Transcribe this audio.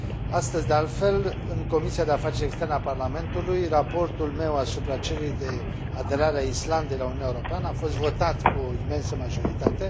Astăzi, de altfel, în Comisia pentru afaceri externe a Parlamentului, raportul meu asupra cererii de aderare a Islandei la Uniunea Europeană a fost votat cu o imensă majoritate.